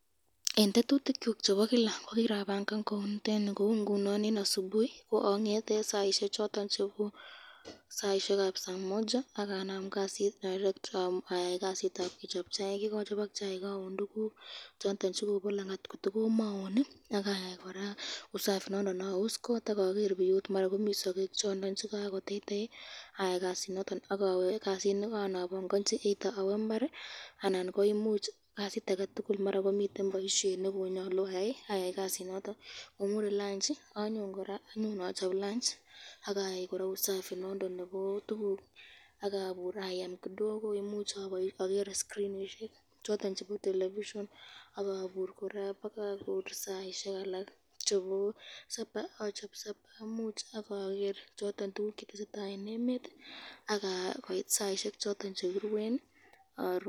Eng tetutikyuk chebo Kila kokirabangan kou niteni, eng asubuhi angete saisyek choton chebo saa Moja akanam kasit direct, ayai kasitab kechob chaik yekachobok chaiki aun tukuk chondo chekobo langati kotikomaun ,akayai koraa usafi nondon aus kot akaun tukuk, akaker biut maran komi sakek chondon chikakoteitei ayai kasinondon akawe kasit nekarobanganchi either awe imbari anan koimuch ko kasit ake tukul ngomure lanchi any koraa achob lunch akayai koraa usafi nondon nebo tukuk akabur ayem kidogo imuche ager skrinishek choton chebo television akabur baka saisyek alak chebo sapa achob sapa ,ager kit netesetai eng emet, koit saisyek chekiruen, aruu.